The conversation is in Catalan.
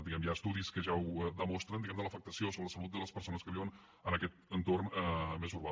diguem ne hi ha estudis que ja la demostren l’afectació sobre la salut de les persones que viuen en aquest entorn més urbà